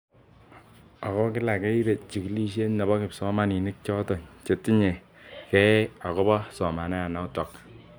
Ako kila keibe chikilishet nebo kipsomaninik chotok chetinye kei ako bo somanet notok.